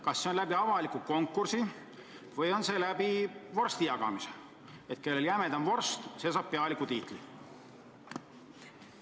Kas see toimub avaliku konkursi korras või käib see vorstijagamise alusel: kellel jämedam vorst, see saab pealiku tiitli?